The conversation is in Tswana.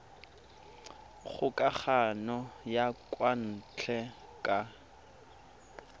kgokagano ya kwa ntle ka